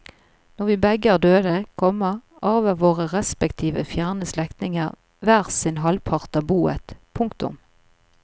Når vi begge er døde, komma arver våre respektive fjerne slektninger hver sin halvpart av boet. punktum